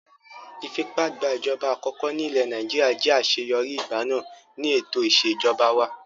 Ìfipágbàjọba àkọkọ́ ní ilẹ̀ Nàìjíríà jẹ́ àṣeyọrí, ìgbà náà ni ètò ìṣèjọba wà.